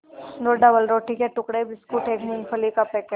दो डबलरोटी के टुकड़े बिस्कुट एक मूँगफली का पैकेट